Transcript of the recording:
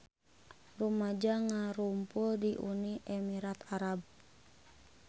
Rumaja ngarumpul di Uni Emirat Arab